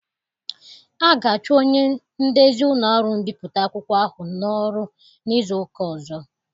A ga-achụ onye ndezi ụlọ ọrụ mbipụta akwụkwọ ahụ n'ọrụ n'izu ụka ọzọ.